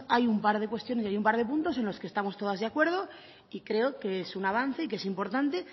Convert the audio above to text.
hay un par de cuestiones y hay un par de puntos en los que estamos todas de acuerdo y creo que es un avance y que es importante